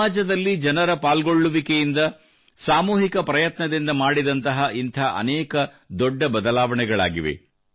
ಸಮಾಜದಲ್ಲಿ ಜನರ ಪಾಲ್ಗೊಳ್ಳುವಿಕೆಯಿಂದ ಸಾಮೂಹಿಕ ಪ್ರಯತ್ನದಿಂದ ಮಾಡಿದಂತಹ ಇಂಥ ಅನೇಕ ದೊಡ್ಡ ಬದಲಾವಣೆಗಳಾಗಿವೆ